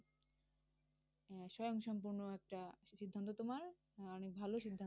স্বয়ংসম্পূর্ণ একটা সিদ্ধান্ত তোমার অনেক ভালো সিদ্ধান্ত।